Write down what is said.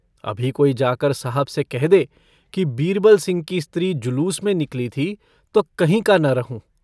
अभी कोई जाकर साहब से कह दे कि बीरबलसिंह की स्त्री जुलूस में निकली थी तो कहीं का न रहूँ।